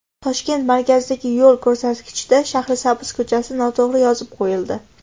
Toshkent markazidagi yo‘l ko‘rsatkichda Shahrisabz ko‘chasi noto‘g‘ri yozib qo‘yildi.